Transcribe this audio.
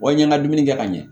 Wa i n'an ka dumuni kɛ ka ɲɛ